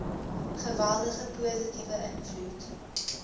geweldige positiewe invloed